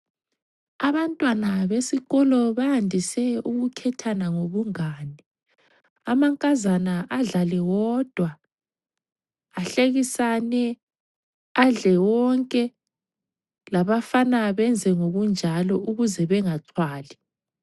Abantwana besikolo bayandise ukukhethana ngobungane, amankazana adlale wodwa , ahlekisane, adle wonke labafana benze okunjalo ukuze bengaxhwali.